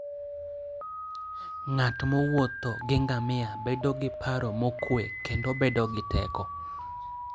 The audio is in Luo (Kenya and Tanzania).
Ng'at mowuotho gi ngamia bedo gi paro mokwe kendo bedo gi teko.